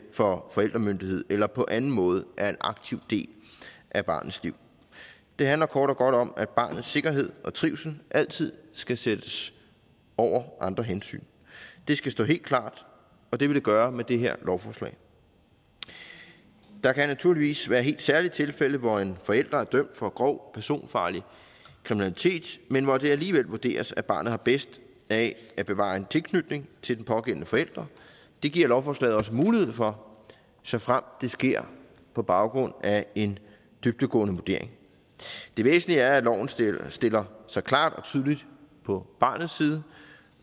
får forældremyndighed eller på anden måde er en aktiv del af barnets liv det handler kort og godt om at barnets sikkerhed og trivsel altid skal sættes over andre hensyn det skal stå helt klart og det vil det gøre med det her lovforslag der kan naturligvis være helt særlige tilfælde hvor en forælder er dømt for grov personfarlig kriminalitet men hvor det alligevel vurderes at barnet har bedst af at bevare en tilknytning til den pågældende forælder det giver lovforslaget også mulighed for såfremt det sker på baggrund af en dybdegående vurdering det væsentlige er at loven stiller stiller sig klart og tydeligt på barnets side